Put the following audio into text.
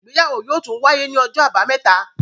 Ìgbéyàwó yóò tún wáyé ní Ọjọ́ Àbàmẹ́ta.